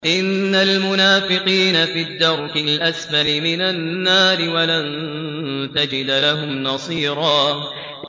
إِنَّ الْمُنَافِقِينَ فِي الدَّرْكِ الْأَسْفَلِ مِنَ النَّارِ وَلَن تَجِدَ لَهُمْ نَصِيرًا